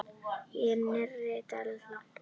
Í nýrri deild.